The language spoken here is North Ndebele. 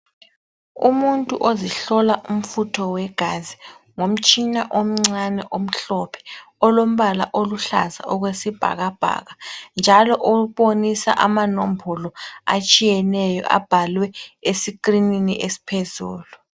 Umuntu ozihlola umfutho wegazi ngomtshina omncane omhlophe olombala oluhlaza okwesibhakabhaka njalo ombonisa amanombolo atshiyeneyo abhalwe esikrinini esiphezulu.